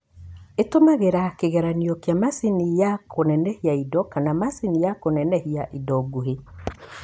Ĩtũmiraga kĩgeranio kĩa macini ya kũnenehia indo kana macini ya kũnenehia indo nguhĩ.